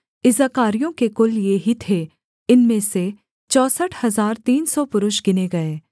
इस्साकारियों के कुल ये ही थे इनमें से चौसठ हजार तीन सौ पुरुष गिने गए